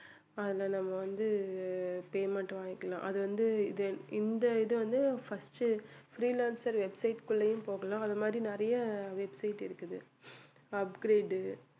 ஆனால் நம்ம வந்து payment வாங்கிக்கலாம். அது வந்து இது இந்த இது வந்து first freelancer website க்குள்ளயும் போகலாம் அது மாதிரி நிறைய website இருக்குது upgrade